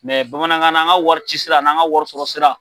bamanankan na an ka wari cisira an'an ka wari sɔrɔ sira.